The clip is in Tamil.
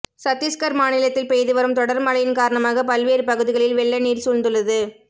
சத்தீஸ்கர் மாநிலத்தில் பெய்து வரும் தொடர் மழையின் காரணமாக பல்வேறு பகுதிகளில் வெள்ளநீர் சூழ்ந்துள்ளது